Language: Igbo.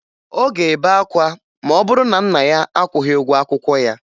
Ọ ga-ebe akwa ma ọ bụrụ na nna ya akwụghị ụgwọ akwụkwọ ya